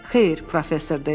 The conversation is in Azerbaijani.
Xeyr, professor dedi.